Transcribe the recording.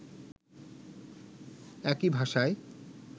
একই ভাষায়